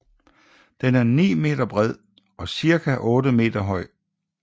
Den er 9 meter bred og ca 8 meter høj